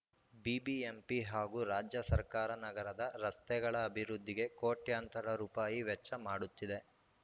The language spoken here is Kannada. ಬಿಬಿಎಂಪಿ ಹಾಗೂ ರಾಜ್ಯ ಸರ್ಕಾರ ನಗರದ ರಸ್ತೆಗಳ ಅಭಿವೃದ್ಧಿಗೆ ಕೋಟ್ಯಂತರ ರುಪಾಯಿ ವೆಚ್ಚ ಮಾಡುತ್ತಿದೆ